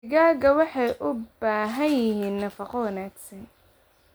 Digaagga waxay u baahan yihiin nafaqo wanaagsan.